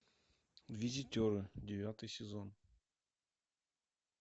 визитеры девятый сезон